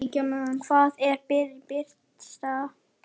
Hvað er brýnast?